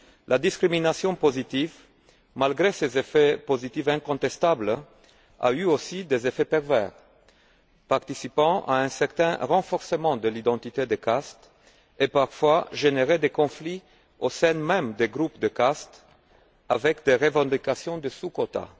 La discrimination positive, malgré ses effets positifs incontestables, a eu aussi des effets pervers, participant à un certain renforcement de l'identité de caste, et a parfois généré des conflits au sein même des groupes de caste avec des revendications de sous quotas.